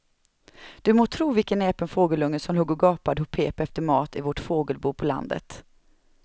Du må tro vilken näpen fågelunge som låg och gapade och pep efter mat i vårt fågelbo på landet.